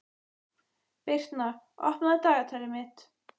Birtna, opnaðu dagatalið mitt.